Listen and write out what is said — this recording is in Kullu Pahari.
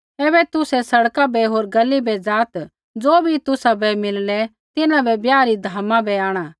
ऐबै तुसै सड़का बै होर गली बै ज़ाआत् ज़ो भी तुसाबै मिललै तिन्हाबै ब्याह री धामा बै आंणा